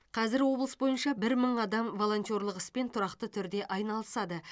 қазір облыс бойынша бір мың адам волонтерлық іспен тұрақты түрде айналысады